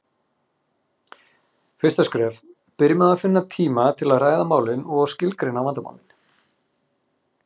Fyrsta skref: Byrjum á að finna tíma til að ræða málin og skilgreina vandamálin.